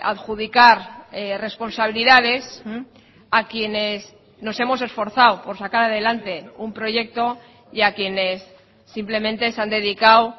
adjudicar responsabilidades a quienes nos hemos esforzado por sacar adelante un proyecto y a quienes simplemente se han dedicado